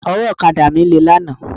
Ọwọ́ ọ̀kadà mi lé lánàá.